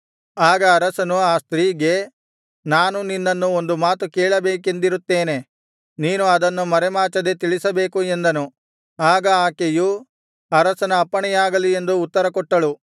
ಆಗ ಅರಸನು ಆ ಸ್ತ್ರೀಗೆ ನಾನು ನಿನ್ನನ್ನು ಒಂದು ಮಾತು ಕೇಳಬೇಕೆಂದಿರುತ್ತೇನೆ ನೀನು ಅದನ್ನು ಮರೆಮಾಚದೆ ತಿಳಿಸಬೇಕು ಎಂದನು ಆಗ ಆಕೆಯು ಅರಸನ ಅಪ್ಪಣೆಯಾಗಲಿ ಎಂದು ಉತ್ತರಕೊಟ್ಟಳು